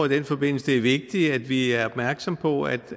i den forbindelse er vigtigt at vi er opmærksomme på at